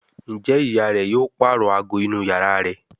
Njé ìyá rẹ yóò parọ àgọ inú iyàrá rẹ?